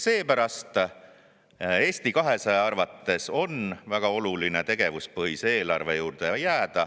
Seepärast on Eesti 200 arvates väga oluline tegevuspõhise eelarve juurde jääda.